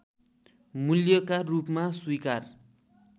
मूल्यका रूपमा स्वीकार